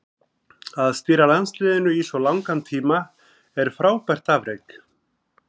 Að stýra landsliðinu í svo langan tíma er frábært afrek.